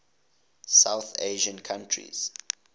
south asian countries